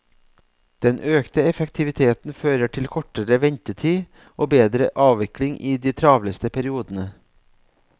Den økte effektiviteten fører til kortere ventetid og bedre avvikling i de travleste periodene.